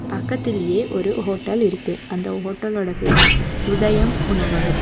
பக்கத்திலியே ஒரு ஹோட்டல் இருக்கு அந்த ஹோட்டலோட பேரு உதயம் உணவகம்.